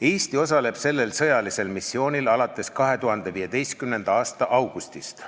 Eesti osaleb sellel sõjalisel missioonil alates 2015. aasta augustist.